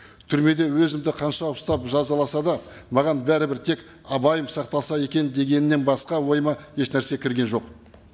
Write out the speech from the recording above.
түрмеде өзімді қанша ұстап жазаласа да маған бәрібір тек айбайым сақталса екен дегеннен басқа ойыма ешнәрсе кірген жоқ